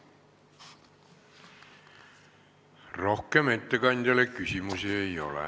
Rohkem ettekandjale küsimusi ei ole.